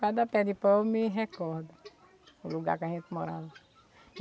Cada pé de pau me recorda o lugar que a gente morava.